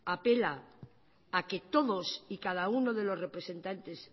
apela a que todos y cada uno de los representantes